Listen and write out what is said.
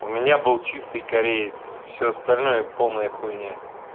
у меня был чистый кореец все остальное полная хуйня